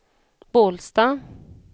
Bålsta